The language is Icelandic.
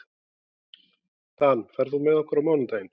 Dan, ferð þú með okkur á mánudaginn?